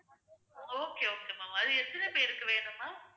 okay okay ma'am அது எத்தனை பேருக்கு வேணும் ma'am